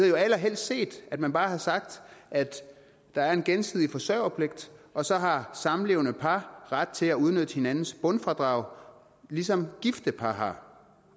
jo allerhelst set at man bare havde sagt at der er en gensidig forsørgerpligt og så har samlevende par ret til at udnytte hinandens bundfradrag ligesom gifte par har